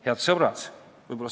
Head sõbrad!